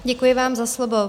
Děkuji vám za slovo.